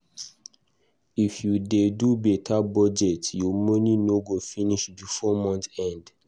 If you dey do beta budget, your money no go finish before month end.